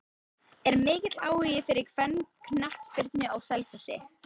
Er mikill áhugi fyrir kvennaknattspyrnu á Selfossi?